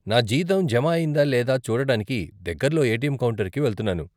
నా జీతం జమ అయిందా లేదా చూడటానికి దగ్గరలో ఏటీఎమ్ కౌంటర్కి వెళ్తున్నాను